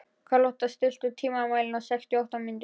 Karlotta, stilltu tímamælinn á sextíu og átta mínútur.